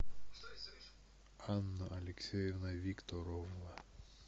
анна алексеевна викторовна